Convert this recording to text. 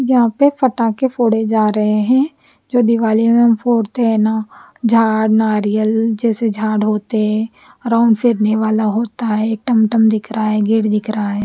जहा पे फटाके फोड़े जा रहे है जो दिवाली में हम फोड़ते हैना जा नारियल जेसे जाड होते है राउंड फेड़ने वाला होता है टमटम दिख रहा है गेट दिख रहा है।